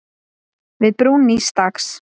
Við brún nýs dags.